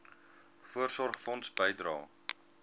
voorsorgfonds bydrae